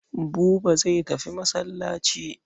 Buba zai tafi masallaci.